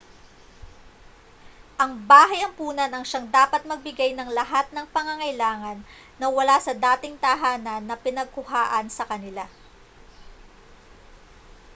ang bahay-ampunan ang siyang dapat magbigay ng lahat ng pangangailangan na wala sa dating tahanan na pinagkuhaan sa kanila